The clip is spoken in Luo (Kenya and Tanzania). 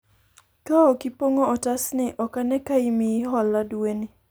kaok ipong'o otas ni ,ok ane ka imiyi hola dwe ni